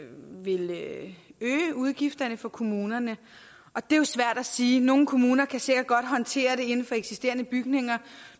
øge udgifterne for kommunerne og det er jo svært at sige nogle kommuner kan sikkert godt håndtere det inden for eksisterende bygninger